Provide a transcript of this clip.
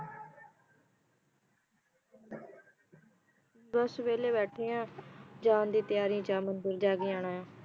ਬੱਸ ਵੇਹਲੇ ਬੈਠੇ ਆ ਜਾਨ ਦੀ ਤਿਆਰੀ ਚ ਆ ਮੰਦਿਰ ਜਾ ਕੇ ਆਣਾ ਆ